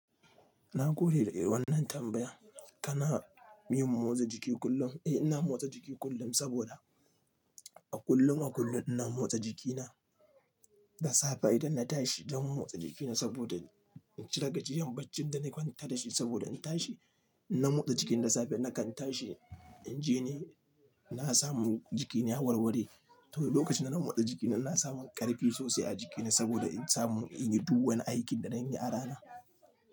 Na gode da wannan tambaya. Kana yin mo motsa jiki kullum? Eh, ina motsa jiki kullum saboda a kullum a kullum ina motsa jikina da safe idan na tashi zan motsa jikina saboda in cire gajiyan baccin da na kwanta da shi saboda in tashi ina motsa jiki da safe nakan tashi in je ni na samu jikina ya warware. To lokacin dazan motsa jikina ina samu ƙarfi sosai a jikina saboda in samu in yi duk wani aikin da zan yi a rana.